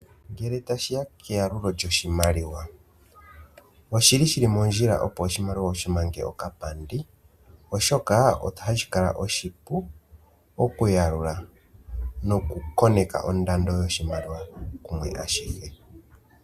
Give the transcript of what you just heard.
Ngele tashi ya keyalulo lyoshimaliwa, oshi li shi li mondjila opo oshimaliwa wu shi mange okapandi, oshoka ohashi kala oshipu okuyalula nokukoneka ondando yoshimaliwa kumwe ashihe.